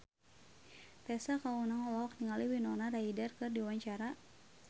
Tessa Kaunang olohok ningali Winona Ryder keur diwawancara